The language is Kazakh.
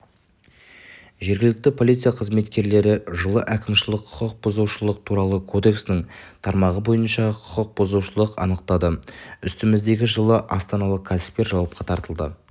жергілікті полиция қызметкерлері жылы әкімшілік құқық бұзушылық туралы кодексінің тармағы бойынша құқық бұзушыны анықтады үстіміздегі жылы астаналық кәсіпкер жауапқа тартылды